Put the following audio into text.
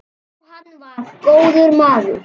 Jóhann var góður maður.